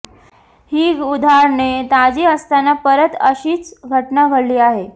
ही उदाहरणे ताजी असताना परत अशीच घटना घडली आहे